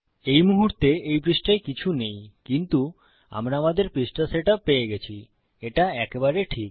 এই মুহুর্তে এই পৃষ্টায় কিছু নেই কিন্তু আমরা আমাদের পৃষ্ঠা সেট আপ পেয়ে গেছি এটা একেবারে ঠিক